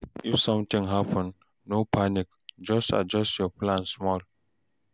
If sometin happen, no panic, just adjust your plan small.